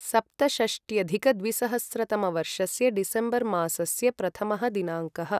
सप्तषष्ट्यधिकद्विसहस्रतमवर्षस्य December मासस्य प्रथमः दिनाङ्कः